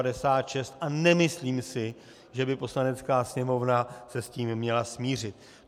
A nemyslím si, že by Poslanecká sněmovna se s tím měla smířit.